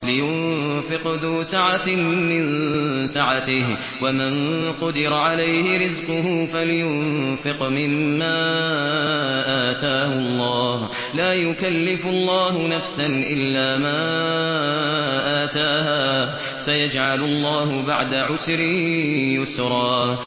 لِيُنفِقْ ذُو سَعَةٍ مِّن سَعَتِهِ ۖ وَمَن قُدِرَ عَلَيْهِ رِزْقُهُ فَلْيُنفِقْ مِمَّا آتَاهُ اللَّهُ ۚ لَا يُكَلِّفُ اللَّهُ نَفْسًا إِلَّا مَا آتَاهَا ۚ سَيَجْعَلُ اللَّهُ بَعْدَ عُسْرٍ يُسْرًا